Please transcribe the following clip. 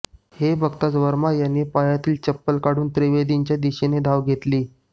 हे बघताच वर्मा यांनी पायातली चप्पल काढून त्रिवेदींच्या दिशेने धाव घेतली